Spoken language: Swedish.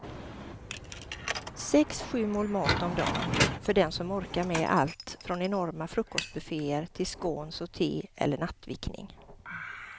Sex, sju mål mat om dagen för den som orkar med allt från enorma frukostbufféer till scones och te eller nattvickning.